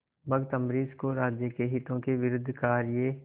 भक्त अम्बरीश को राज्य के हितों के विरुद्ध कार्य